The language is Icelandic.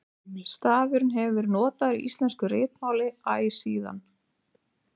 stafurinn hefur verið notaður í íslensku ritmáli æ síðan